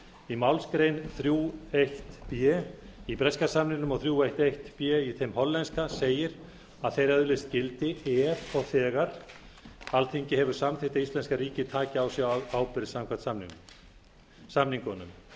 í málsgrein þrjú eitt b í breska samningnum og þrír einn eitt b í þeim hollenska segir að þeir öðlist gildi ef og þegar alþingi hefur samþykkt að íslenska ríkið taki á sig ábyrgð samkvæmt samningunum